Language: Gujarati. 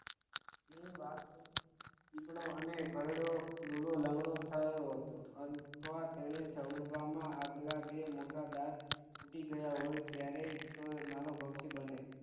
એ વાસ્તવિક દીપડો અને ઘરડો લૂલો લંગડો થયો હતો અથવા તેના જડબામાં આગલા બે મોટા દાંત તૂટી ગયાહોય ત્યારે તે માનવભક્ષી બને